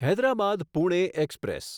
Hyderabad Pune express